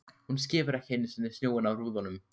Hún skefur ekki einu sinni snjóinn af rúðunum!